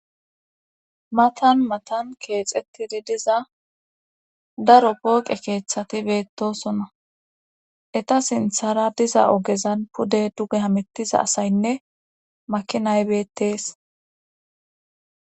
matan matan keexettidi diza daro pooqe keeththati beettosonna eta sinthara diza ogezan pude duge hamittiza asaynne makinay bettees